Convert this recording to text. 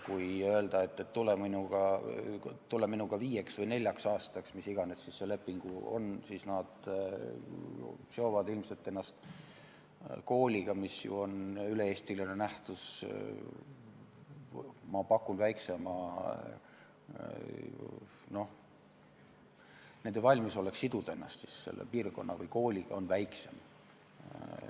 Kui öelda, et tule minuga viieks või neljaks aastaks , siis nende valmisolek siduda ennast selle piirkonna või kooliga, mis ju on üle-eestiline nähtus, ma pakun, on ilmselt väiksem.